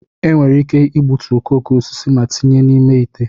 enwere ike igbutu okooko osisi ma tinye n'ime ite